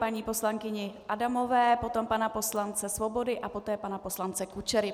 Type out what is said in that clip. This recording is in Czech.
Paní poslankyně Adamové, potom pana poslance Svobody a poté pana poslance Kučery.